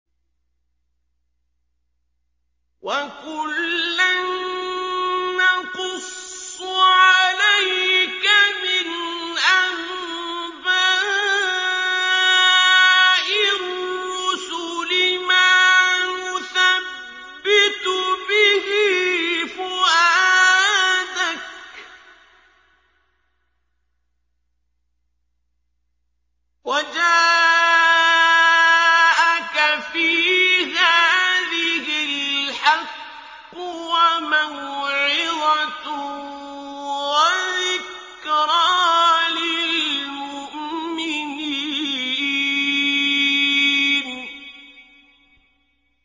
وَكُلًّا نَّقُصُّ عَلَيْكَ مِنْ أَنبَاءِ الرُّسُلِ مَا نُثَبِّتُ بِهِ فُؤَادَكَ ۚ وَجَاءَكَ فِي هَٰذِهِ الْحَقُّ وَمَوْعِظَةٌ وَذِكْرَىٰ لِلْمُؤْمِنِينَ